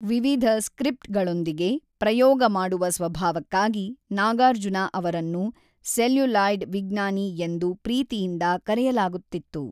ವಿವಿಧ ಸ್ಕ್ರಿಪ್ಟ್‌ಗಳೊಂದಿಗೆ ಪ್ರಯೋಗ ಮಾಡುವ ಸ್ವಭಾವಕ್ಕಾಗಿ ನಾಗಾರ್ಜುನ ಅವರನ್ನು ಸೆಲ್ಯುಲಾಯ್ಡ್ ವಿಜ್ಞಾನಿ ಎಂದು ಪ್ರೀತಿಯಿಂದ ಕರೆಯಲಾಗುತ್ತಿತ್ತು.